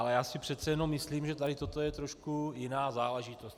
Ale já si přece jenom myslím, že tady toto je trošku jiná záležitost.